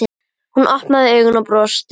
Hún opnaði augun og brosti.